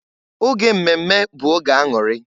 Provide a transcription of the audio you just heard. Oge mmemme bụ oge aṅụrị.